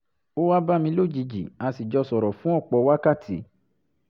ó wá bá mi lójijì a sì jọ sọ̀rọ̀ fún ọ̀pọ̀ wákàtí